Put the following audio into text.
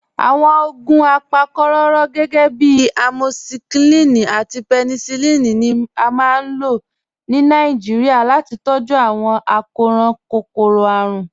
Awọn ogun apákokòró, gẹgẹ̀bí amọkíṣilín àti pẹ̀nísílín, ni à máa n lọ̀ ní Nàìjíríà láti tọ̀jú awọn akọran kókòró-árùn.